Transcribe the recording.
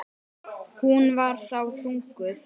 Hún var þá þunguð.